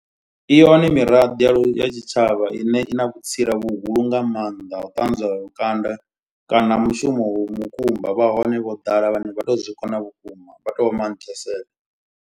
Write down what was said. I hone miraḓo ya tshitshavha ine i na vhutsila vhuhulu nga maanḓa. Ha u ṱanzwa lukanda kana mushumo u mukumba. Vha hone vho ḓala vhane vha to zwikona vhukuma vha tou vha manthesela.